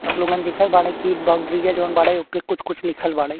आप लोगन देखत बाड़े कि बाउंड्रीया जोन बाड़े ओपे कुछ कुछ लिखल बाड़े।